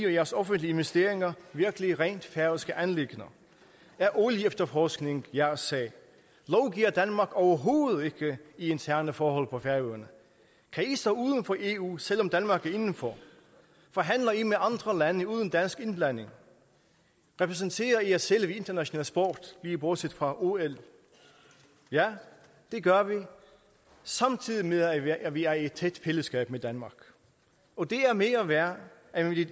og jeres offentlige investeringer virkelig rent færøske anliggender er olieefterforskning jeres sag lovgiver danmark overhovedet ikke i interne forhold på færøerne kan i stå uden for eu selv om danmark er inden for forhandler i med andre lande uden dansk indblanding repræsenterer i jer selv ved international sport lige bortset fra ol ja det gør vi samtidig med at vi er i et tæt fællesskab med danmark og det er mere værd